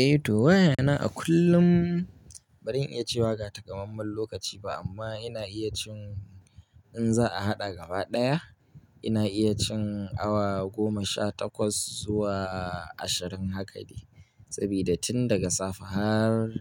Eh, to waya na a kullum badan iya cewa ba ta kamammen lokaci ba amma ina iya cin in za a haɗa gaba ɗaya ina iya cin awa goma sha takwas zuwa ashirin haka de. Saboda tun daga safe har